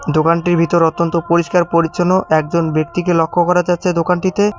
দোকানটির ভিতরে অত্যন্ত পরিষ্কার-পরিচ্ছন্ন একজন ব্যক্তিকে লক্ষ্য করা যাচ্ছে দোকানটিতে।